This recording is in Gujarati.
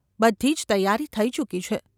બધી જ તૈયારી થઈ ચૂકી છે.